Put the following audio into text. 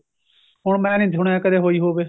ਹੁਣ ਮੈਂ ਨਹੀਂ ਸੁਣਿਆ ਕਦੀ ਹੋਈ ਹੋਵੇ